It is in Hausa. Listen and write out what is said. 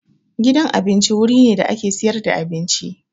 Gidan abinci wuri ne da ake siyar da abinci.